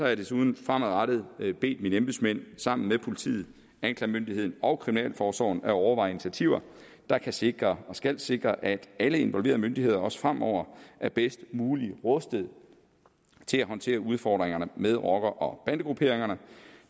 jeg desuden fremadrettet bedt mine embedsmænd sammen med politiet anklagemyndigheden og kriminalforsorgen at overveje initiativer der kan sikre og skal sikre at alle involverede myndigheder også fremover er bedst muligt rustet til at håndtere udfordringerne med rocker og bandegrupperingerne